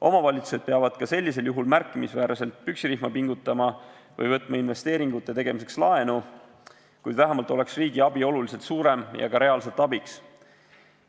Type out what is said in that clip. Omavalitsused peavad ka sellisel juhul märkimisväärselt püksirihma pingutama või võtma investeeringute tegemiseks laenu, kuid vähemalt oleks riigi abi oluliselt suurem ja ka reaalselt toeks.